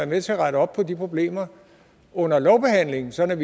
med til at rette op på de problemer under lovbehandlingen sådan